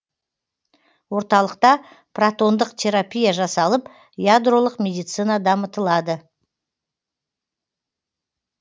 орталықта протондық терапия жасалып ядролық медицина дамытылады